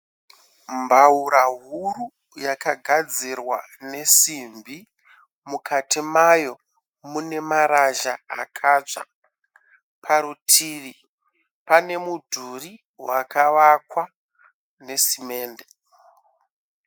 Mbaura huru yakagadzirwa nesimbi, mukati mayo mune marasha akatsva. Parutivi pane mudhuri wakavakwa ne simende